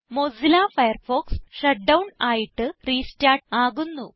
Mozilla Firefox shut down ആയിട്ട് restart ആകുന്നു